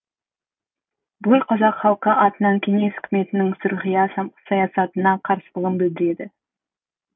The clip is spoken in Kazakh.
бүкіл қазақ халқы атынан кеңес үкіметінің сұрқия саясатына қарсылығын білдіреді